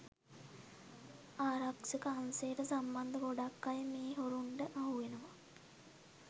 ආරක්ෂක අංශයට සම්බන්ධ ගොඩක් අය මේ හොරුන්ට අහුවෙනවා.